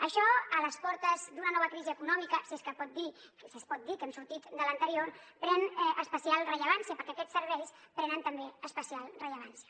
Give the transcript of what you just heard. això a les portes d’una nova crisi econòmica si és que es pot dir que hem sortit de l’anterior pren especial rellevància perquè aquests serveis prenen també especial rellevància